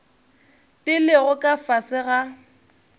di lego ka fase ga